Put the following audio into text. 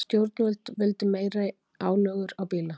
Stjórnvöld vildu meiri álögur á bíla